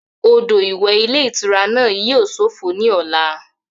Odò ìwẹ̀ ilé ìtura náà yíò sófo ní ọ̀la